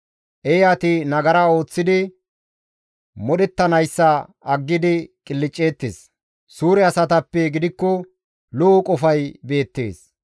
Eeyati nagara ooththidi modhettanayssa aggidi qilcceettes; suure asatappe gidikko lo7o qofay beettees.